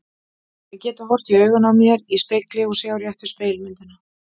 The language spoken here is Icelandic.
Að geta horft í augun á mér í spegli og sjá réttu spegilmyndina.